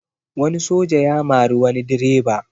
Wani soja ya mari wani direba